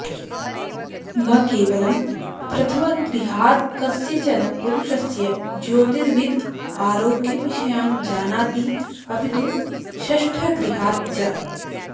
न केवलं प्रथमगृहात्कस्यचन पुरुषस्य ज्योतिर्विद् आरोग्यविषयान् जानाति अपि तु षष्ठगृहात् च